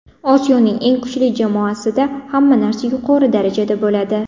Osiyoning eng kuchli jamoasida hamma narsa yuqori darajada bo‘ladi.